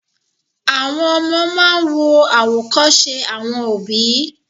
Àwọn ọmọ máa ń wo àwòkọ́ṣe àwọn òbí